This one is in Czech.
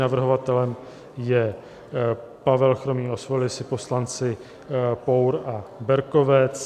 Navrhovatelem je Pavel Chromý, osvojili si poslanci Pour a Berkovec.